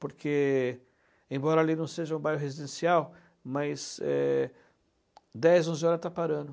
Porque, embora ali não seja um bairro residencial, mas é, dez, onze horas está parando.